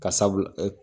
Ka sabu